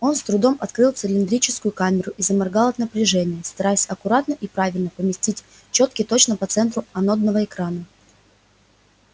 он с трудом открыл цилиндрическую камеру и заморгал от напряжения стараясь аккуратно и правильно поместить чётки точно по центру анодного экрана